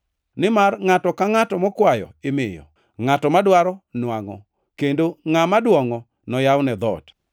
Nimar ngʼato ka ngʼato mokwayo imiyo, ngʼato madwaro nwangʼo kendo ngʼama dwongʼo, noyawne dhoot.